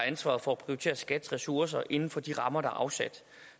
ansvaret for at prioritere skats ressourcer inden for de rammer der er afsat